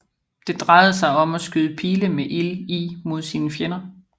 Det drejede sig om at skyde pile med ild i mod sine fjender